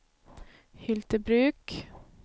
Hyltebruk